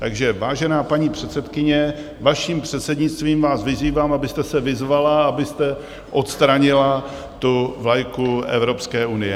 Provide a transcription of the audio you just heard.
Takže vážená paní předsedkyně, vaším předsednictvím, vyzývám vás, abyste se vyzvala, abyste odstranila tu vlajku Evropské unie.